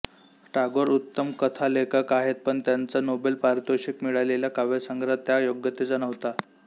टागोर उत्तम कथालेखक आहेत पण त्यांचा नोबेल पारितोषिक मिळालेला काव्यसंग्रह त्या योग्यतेचा नव्हता